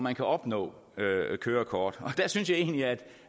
at opnå kørekort der synes jeg egentlig at